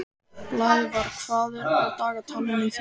Blævar, hvað er á dagatalinu í dag?